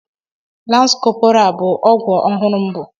Lance corporal bu okwa ọhụrụ m bụ